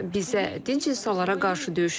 Bizə dinc insanlara qarşı döyüşürlər.